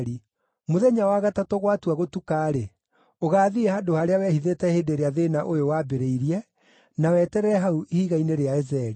Mũthenya wa gatatũ gwatua gũtuka-rĩ, ũgaathiĩ handũ harĩa wehithĩte hĩndĩ ĩrĩa thĩĩna ũyũ waambĩrĩirie, na weterere hau ihiga-inĩ rĩa Ezeli.